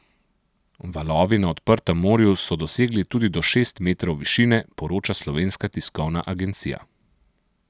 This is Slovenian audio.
Valovi na odprtem morju so dosegli tudi do šest metrov višine, poroča Slovenska tiskovna agencija.